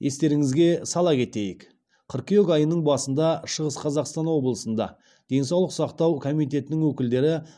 естеріңізге сала кетейік қыркүйек айының басында шығыс қазақстан облысында денсаулық сақтау комитетінің өкілдері